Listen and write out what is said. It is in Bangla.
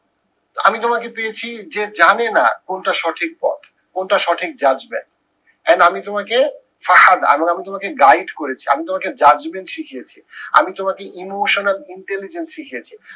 আমি তোমাকে পেয়েছি যে জানে না কোনটা সঠিক পথ। কোনটা সঠিক judgement and আমি তোমাকে আমি আমি তোমাকে guide করেছি আমি তোমাকে judgement শিখিয়েছি। আমি তোমাকে emotional intelligence শিখিয়েছি।